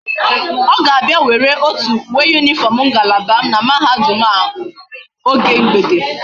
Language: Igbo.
O ga abia were otu uwe uniform ngalaba m na mahadum a oge mgbede